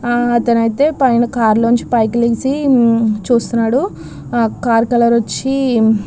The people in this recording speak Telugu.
అతను అయేత్ పైన కార్ లోనించి పైకి లేచి చూస్తున్నాడు. కారు కలర్ వచ్చి --